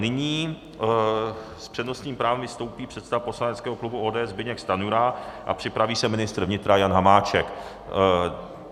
Nyní s přednostním právem vystoupí předseda poslaneckého klubu ODS Zbyněk Stanjura a připraví se ministr vnitra Jan Hamáček.